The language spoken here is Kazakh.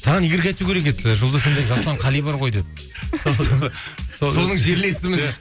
саған игорьга айту керек еді жұлдыз эф эм де жасұлан қали бар ғой деп соның жерлесімін деп